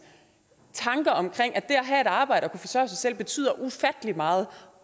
tanker om at have et arbejde og kunne forsørge sig selv betyder ufattelig meget